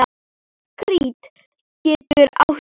Krít getur átt við